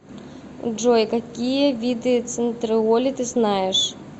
джой какие виды центриоли ты знаешь